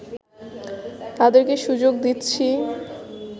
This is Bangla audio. তাদের কে সুযোগ দিচ্ছি